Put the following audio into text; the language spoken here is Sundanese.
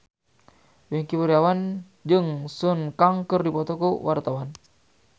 Wingky Wiryawan jeung Sun Kang keur dipoto ku wartawan